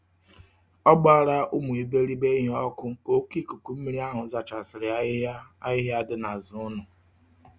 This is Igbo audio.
O gbara umu iberibe ihe oku ka oke ikuku mmiri ahu zachasiri ahihia ahihia di n'azu ulo.